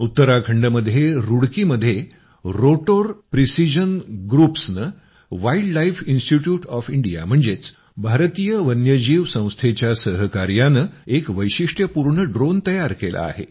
उत्तराखंडमध्ये रूडकीमध्ये rotor precision ग्रुप्सनं वाइल्डलाइफ इन्स्टिट्युट ऑफ इंडिया म्हणजेच भारतीय वन्यजीव संस्थेच्या सहकार्यानं एक वैशिष्ट्यपूर्ण ड्रोन तयार केला आहे